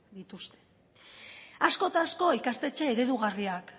dituzte asko eta asko ikastetxe eredugarriak